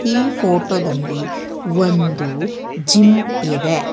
ಈ ಫೋಟೋದಲ್ಲಿ ಒಂದು ಜಿಮ್ ಇದೆ.